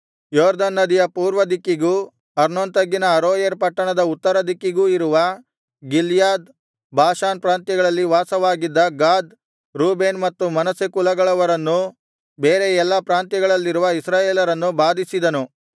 ಯೊರ್ದನ್ ನದಿಯ ಪೂರ್ವದಿಕ್ಕಿಗೂ ಅರ್ನೋನ್ ತಗ್ಗಿನ ಅರೋಯೇರ್ ಪಟ್ಟಣದ ಉತ್ತರದಿಕ್ಕಿಗೂ ಇರುವ ಗಿಲ್ಯಾದ್ ಬಾಷಾನ್ ಪ್ರಾಂತ್ಯಗಳಲ್ಲಿ ವಾಸವಾಗಿದ್ದ ಗಾದ್ ರೂಬೇನ್ ಮತ್ತು ಮನಸ್ಸೆ ಕುಲಗಳವರನ್ನೂ ಬೇರೆ ಎಲ್ಲಾ ಪ್ರಾಂತ್ಯಗಳಲ್ಲಿರುವ ಇಸ್ರಾಯೇಲರನ್ನೂ ಬಾಧಿಸಿದನು